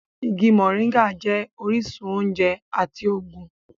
Igi moringa jẹ́ orísun oúnjẹ àti ògùn